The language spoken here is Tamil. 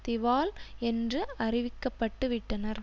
திவால் என்று அறிவிக்கப்பட்டுவிட்டனர்